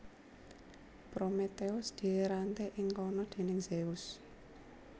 Prometheus diranté ing kana déning Zeus